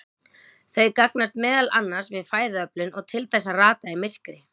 Þau gagnast meðal annars við fæðuöflun og til þess að rata í myrkri.